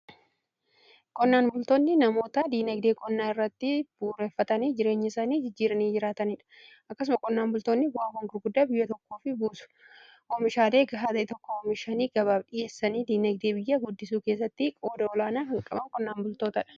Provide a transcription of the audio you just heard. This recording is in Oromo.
Qonnaan bultoonni namoota dinagdee qonnaa irratti bu'uureeffatanii jireenya isaanii jijjiiranii jiraataniidha. Akkasuma qonnaan bultoonni bu'aa gurguddaa biyya tokkoof buusuun oomishaalee gahaa tokko oomishaanii gabaaf dhi'eessanii diinagdee biyyaa guddisuu keessatti qooda olaanaa kan qaban qonnaan bultoota dha.